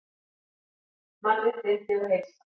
Mannréttindi og heilsa